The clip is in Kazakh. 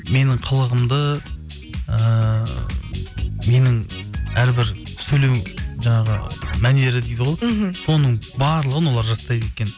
менің қылығымды ыыы менің әрбір сөйлеу жаңағы мәнері дейді ғой мхм соның барлығын олар жаттайды екен